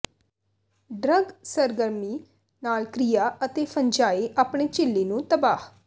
drug ਸਰਗਰਮੀ ਨਾਲ ਕ੍ਰਿਆ ਅਤੇ ਫੰਜਾਈ ਆਪਣੇ ਝਿੱਲੀ ਨੂੰ ਤਬਾਹ